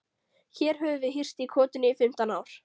Hér höfum við hírst í kotinu í fimmtán ár.